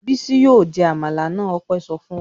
"Bísí yóò jẹ àmàlà náà!" Ọpẹ́ sọ fún wa.